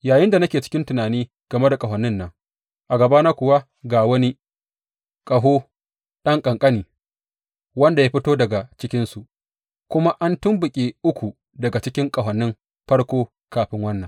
Yayinda nake cikin tunani game da ƙahonin nan, a gabana kuwa ga wani ƙaho, ɗan ƙanƙani, wanda ya fito daga cikinsu; kuma an tumɓuke uku daga cikin ƙahonin farko kafin wannan.